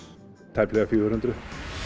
tæplega fjögur hundruð